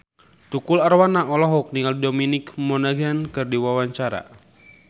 Tukul Arwana olohok ningali Dominic Monaghan keur diwawancara